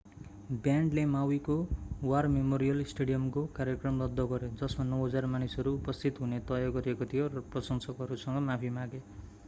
ब्यान्डले माउवीको war memorial स्टेडियमको कार्यक्रम रद्द गर्‍यो जसमा 9,000 मानिसहरू उपस्थित हुने तय गरिएको थियो र प्रशंसकहरूसँग माफी मागे।